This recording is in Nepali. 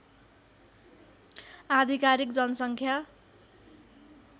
आधिकारिक जनसङ्ख्या